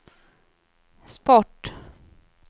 sport